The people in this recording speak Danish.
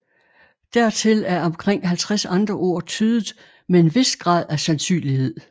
Dertil er omkring 50 andre ord tydet med en vis grad af sandsynlighed